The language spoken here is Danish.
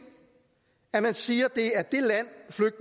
er at man siger